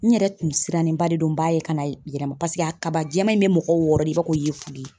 N yɛrɛ tun sirannenba de don n b'a ye kana yɛrɛma paseke a kaba jɛman in bɛ mɔgɔ wɔɔrɔ de i b'a ko yefuge.